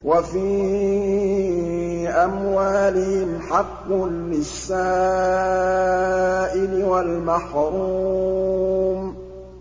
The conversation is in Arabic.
وَفِي أَمْوَالِهِمْ حَقٌّ لِّلسَّائِلِ وَالْمَحْرُومِ